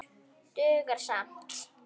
Dugar skammt.